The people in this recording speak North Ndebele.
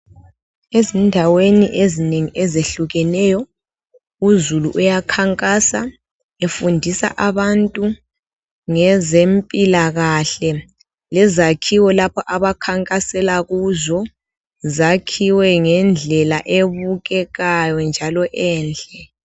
Ezindaweni ezinengi ezehlukeneyo uzulu uyakhankasa efundisa abantu ngezempilakahle lezakhiwo lapha abakhankasela kuzo zakhiwe ngendlela ebukekayo njalo enhle